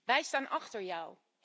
Wij staan achter jou.